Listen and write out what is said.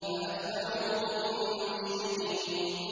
فَأَتْبَعُوهُم مُّشْرِقِينَ